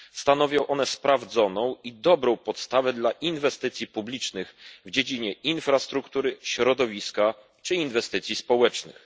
Stanowią one sprawdzoną i dobrą podstawę inwestycji publicznych w dziedzinie infrastruktury, środowiska czy inwestycji społecznych.